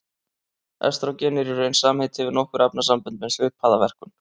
Estrógen er í raun samheiti yfir nokkur efnasambönd með svipaða verkun.